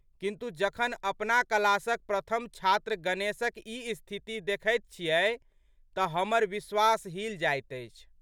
किन्तु, जखन अपना क्लासक प्रथम छात्र गणेशक ई स्थिति देखैत छियै तऽ हमर विश्वास हिल जाइत अछि।